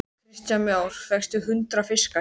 Hve erfið er sú barátta, hve óhjákvæmilegur ósigurinn.